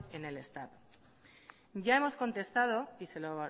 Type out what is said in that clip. en el estado ya hemos contestado y se lo